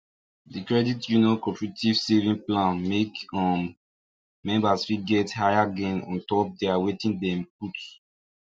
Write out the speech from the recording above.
d credit union cooperative savings plan make um members fit get higher gain on top their wetin dem put